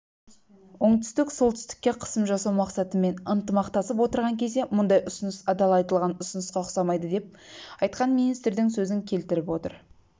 оңтүстік солтүстікке қысым жасау мақсатымен ынтымақтасып отырған кезде мұндай ұсыныс адал айтылған ұсынысқа ұқсамайды деп айтқан министрдің сөзін келтіріп отыр